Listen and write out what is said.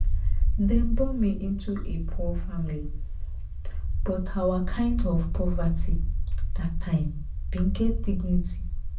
"dem born me into a poor family but our kind of poverty dat time bin get dignity.